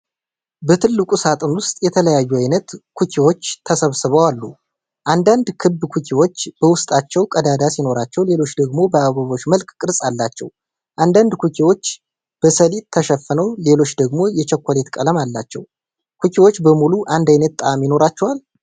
በትልቁ ሳጥን ውስጥ የተለያዩ አይነት ኩኪዎች ተሰብስበው አሉ። አንዳንድ ክብ ኩኪዎች በውስጣቸው ቀዳዳ ሲኖራቸው፣ ሌሎች ደግሞ በአበቦች መልክ ቅርጽ አላቸው። አንዳንድ ኩኪዎች በሰሊጥ ተሸፍነው፣ ሌሎች ደግሞ የቸኮሌት ቀለም አላቸው። ኩኪዎቹ በሙሉ አንድ አይነት ጣዕም ይኖራቸዋል?